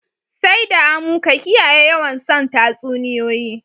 Sai d amu ka kiyaye yawan son tasuniyoyi